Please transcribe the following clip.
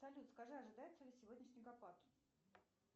салют скажи ожидается ли сегодня снегопад